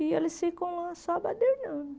E eles ficam lá só badernando.